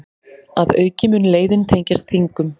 Að auki mun leiðin tengjast Þingum